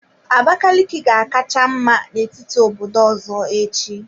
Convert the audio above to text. Abakaliki ga-akacha mma n'etiti obodo ọzọ echi.